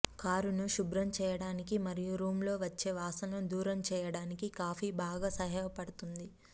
కారును శుభ్రం చేయడానికి మరియు రూమ్ లో వచ్చే వాసనలు దూరం చేయడానికి కాఫీ బాగా సహాయపడుతుంది